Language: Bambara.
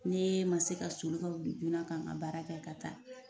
N'e ma se ka sɔli ka wuli joona ka n ka baara kɛ ka taa